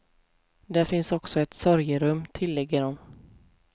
Därför finns också gjort ett sorgerum, tillägger de.